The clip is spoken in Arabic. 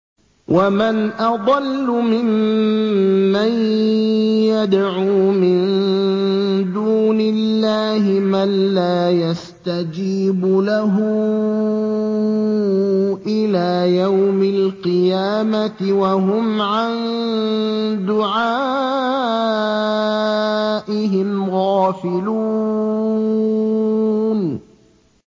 وَمَنْ أَضَلُّ مِمَّن يَدْعُو مِن دُونِ اللَّهِ مَن لَّا يَسْتَجِيبُ لَهُ إِلَىٰ يَوْمِ الْقِيَامَةِ وَهُمْ عَن دُعَائِهِمْ غَافِلُونَ